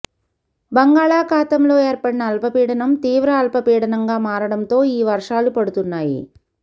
బంగాళాఖాతంలో ఏర్పడిన అల్పపీడనం తీవ్ర అల్పపీడనంగా మారడంతో ఈ వర్షాలు పడుతున్నాయి